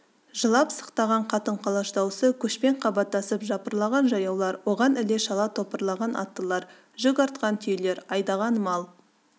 жылап-сықтаған қатын-қалаш дауысы көшпен қабаттасып жапырлаған жаяулар оған іле-шала топырлаған аттылар жүк артқан түйелер айдаған мал